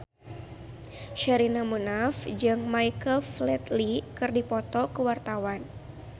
Sherina Munaf jeung Michael Flatley keur dipoto ku wartawan